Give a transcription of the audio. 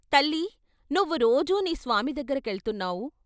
తల్లీ నువ్వు రోజూ నీ స్వామి దగ్గరకెళ్తున్నావు....